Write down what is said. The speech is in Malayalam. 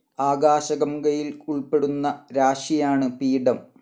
ആകാശഗംഗയിൽ ഉൾപ്പെടുന്ന രാശിയാണ് പീഠം.